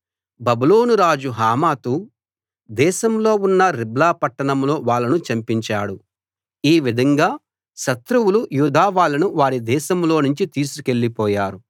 బబులోను రాజు హమాతు దేశంలో ఉన్న రిబ్లా పట్టణంలో వాళ్ళను చంపించాడు ఈ విధంగా శత్రువులు యూదా వాళ్ళను వారి దేశంలోనుంచి తీసుకెళ్ళిపోయారు